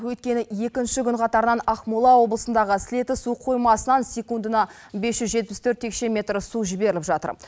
өйткені екінші күн қатарынан ақмола облысындағы сілеті су қоймасынан секундына бес жүз жетпіс төрт текше метр су жіберіліп жатыр